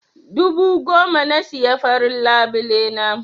Dubu goma na siya farin labule na.